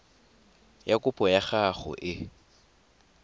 ya kopo ya gago e